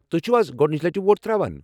تۄہہِ چھِوٕ از گۄڈنِچہِ لٕٹہِ ووٹ تر٘اوان ؟